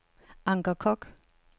Anker Kock